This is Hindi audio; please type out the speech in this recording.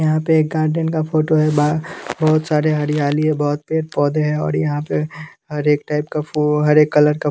यहाँ पे एक गार्डन का फोटो है बहुत सारे हरियाली है बहुत पेड़ पौधे हैं और यहाँ पे हर एक टाइप का फूल हर एक कलर का --